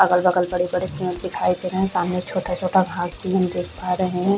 अगल - बगल बड़े - बड़े पेड़ दिखाई दे रहे हैं सामने छोटा - छोटा घास भी हम देख पा रहे है।